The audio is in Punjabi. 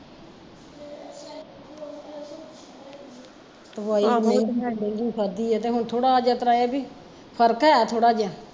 ਦਵਾਈ ਮੈਂ ਬੜੀ ਮਹਿੰਗੀ ਖਾਧੀ ਐ ਤੇ ਹੁਣ ਥੋੜਾ ਜੀਹ ਏਹ ਆ ਵੀ, ਫਰਕ ਹੈ ਥੋੜਾ ਜਿਹਾ